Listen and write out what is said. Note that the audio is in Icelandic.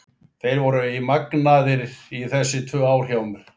Þeir voru í magnaðir í þessi tvö ár hjá mér.